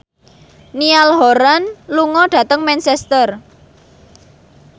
Niall Horran lunga dhateng Manchester